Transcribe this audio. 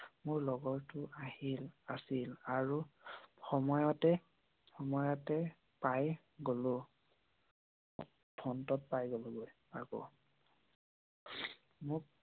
মোৰ লগৰ টো আহিল আছিল আৰু সময়তে পাই গোলোঁ। ফোন টোত পাই গোলো গৈ আকৌ।